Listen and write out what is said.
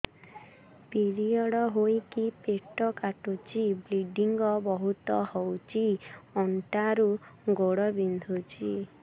period ହୋଇକି ପେଟ କାଟୁଛି ବ୍ଲିଡ଼ିଙ୍ଗ ବହୁତ ହଉଚି ଅଣ୍ଟା ରୁ ଗୋଡ ବିନ୍ଧୁଛି